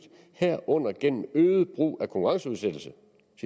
herunder gennem øget brug af konkurrenceudsættelse